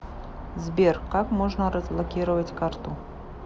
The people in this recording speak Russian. сбер как можно разблокировать карту